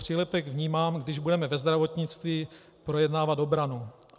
Přílepek vnímám, když budeme ve zdravotnictví projednávat obranu.